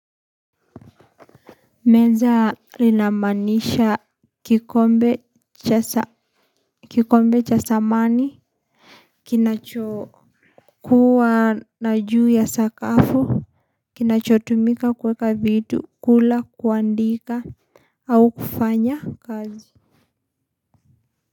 Meza linamanisha kikombe chasa kikombe chasamani. Kinachokuwa na juu ya sakafu. Kinachotumika kuweka vitu kula kuandika au kufanya kazi.